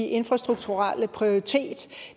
infrastrukturelle prioritet